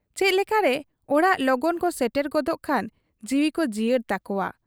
ᱪᱮᱫ ᱞᱮᱠᱟᱨᱮ ᱚᱲᱟᱜ ᱞᱚᱜᱚᱱ ᱠᱚ ᱥᱮᱴᱮᱨ ᱜᱚᱫᱚᱜ ᱠᱷᱟᱱ ᱡᱤᱣᱤᱠᱚ ᱡᱤᱭᱟᱹᱲ ᱛᱟᱠᱚᱣᱟ ᱾